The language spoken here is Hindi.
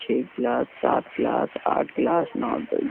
छह गिलास सात गिलास आठ गिलास नौ द --